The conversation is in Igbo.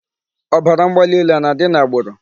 Ọbara mgbali elu a na-adị n'agbụrụ?